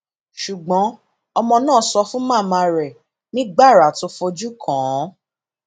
ṣùgbọn ọmọ náà sọ fún màmá rẹ ní gbàrà tó fojú kàn án